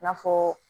I n'a fɔɔ